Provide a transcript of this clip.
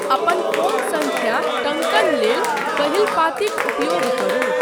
अपन फोन सङ्ख्या टङ्कण लेल पहिल पाँतिक उपयोग करू।